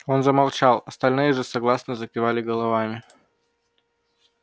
он замолчал остальные же согласно закивали головами